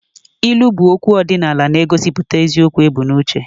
Ilu bụ okwu ọdịnala na-egosipụta eziokwu ebu n'uche